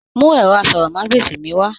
Mú ẹrọ àsọ̀rọ̀mágbèsi mí wá!